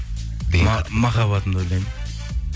махаббатымды ойлаймын